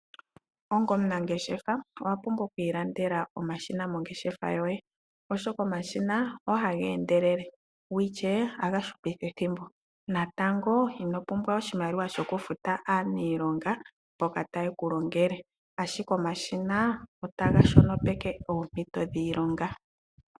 Onga omunangeshefa owapumbwa oku ilandela omashina mongeshefa yoye oshoka omashina ogeli haga endelele go ishewe ohaga hupitha ethimbo. Natango inopumbwa oshimaliwa shokufuta aaniilonga mboka taye ku longele ashike omashina otaga shonopeke oompito dhiilonga.